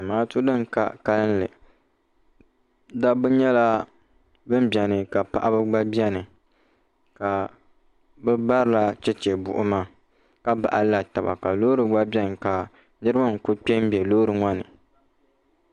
zamaatu bin ka kanli dabba nyɛla bin biɛni ka paɣaba gba biɛni ka bi barila chɛchɛ buɣuma ka baɣalila taba ka loori gba biɛni ka niraba n ku kpɛ n bɛ loori ŋɔni